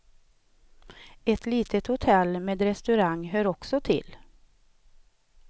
Ett litet hotell med restaurang hör också till.